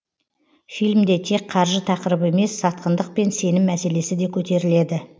фильмде тек қаржы тақырыбы емес сатқындық пен сенім мәселесі де көтеріледі